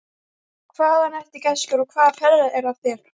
Hvaðan ertu, gæskur, og hvaða ferðalag er á þér?